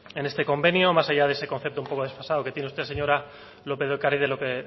en este convenio más allá de ese concepto un poco desfasado que tiene usted señora lópez de ocáriz de lo que